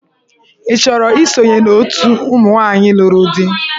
Ị chọrọ isonye na òtù ụmụ nwaanyị lụrụ di?